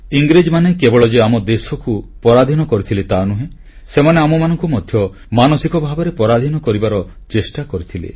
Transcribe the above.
ଇଂରେଜମାନେ କେବଳ ଯେ ଆମ ଦେଶକୁ ପରାଧୀନ କରିଥିଲେ ତାନୁହେଁ ସେମାନେ ଆମମାନଙ୍କୁ ମଧ୍ୟ ମାନସିକ ଭାବରେ ପରାଧୀନ କରିବାର ଚେଷ୍ଟା କରିଥିଲେ